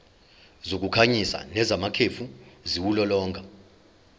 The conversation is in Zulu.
zokukhanyisa nezamakhefu ziwulolonga